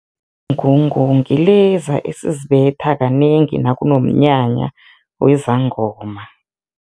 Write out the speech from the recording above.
Ngungu ngileza esizibetha kanengi nakunomnyanya wezangoma.